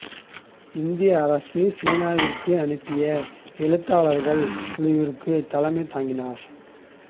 இந்திய அரசு சீனாவிற்கு அனுப்பிய எழுத்தாளர்கள் குழுவிற்கும் தலைமை தாங்கினார்